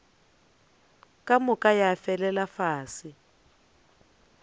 ka moka ya felela fase